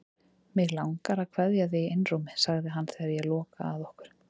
Mig langar að kveðja þig í einrúmi, segir hann þegar ég loka að okkur.